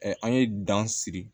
an ye dan siri